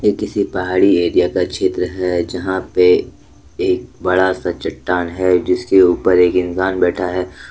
यह किसी पहाड़ी एरिया का क्षेत्र है यहां पे एक बड़ा सा चट्टान है जिसके ऊपर एक इंसान बैठा है।